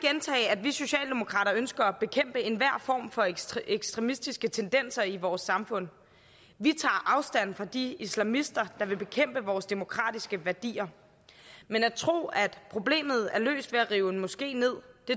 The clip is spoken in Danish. at vi socialdemokrater ønsker at bekæmpe enhver form for ekstremistiske tendenser i vores samfund vi tager afstand fra de islamister der vil bekæmpe vores demokratiske værdier men at tro at problemet er løst ved at rive en moské ned